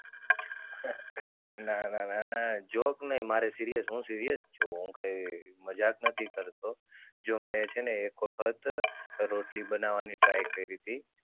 ના ના ના ના. joke નય મારે serious હું serious છુ હું કાય મજાક નથી કરતો. જો મે છે ને એક વખત રોટલી બનાવાની try કરીતિ.